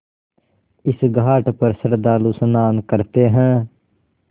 इस घाट पर श्रद्धालु स्नान करते हैं